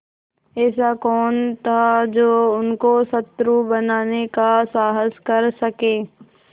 ऐसा कौन था जो उसको शत्रु बनाने का साहस कर सके